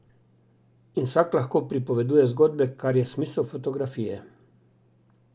In vsak lahko pripoveduje zgodbe, kar je smisel fotografije.